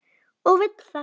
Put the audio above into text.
Og vill það.